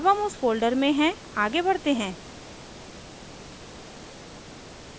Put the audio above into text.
अब हम उस फोल्डर में हैं आगे बढ़ते हैं